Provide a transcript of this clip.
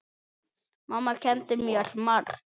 Mamma kenndi mér margt.